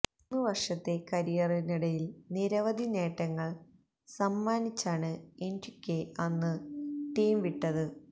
മൂന്ന് വര്ഷത്തെ കരിയറിനിടയില് നിരവധി നേട്ടങ്ങള് സമ്മാനിച്ചാണ് എന്റിക്വെ അന്ന് ടീം വിട്ടത്